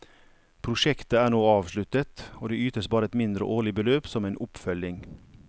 Prosjektet er nå avsluttet, og det ytes bare et mindre årlig beløp som en oppfølging.